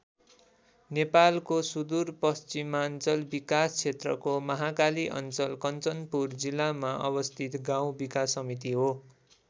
नेपालको सुदूरपश्चिमाञ्चल विकास क्षेत्रको महाकाली अञ्चल कञ्चनपुर जिल्लामा अवस्थित गाउँ विकास समिति हो।